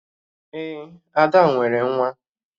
Ee, Ada nwere nwa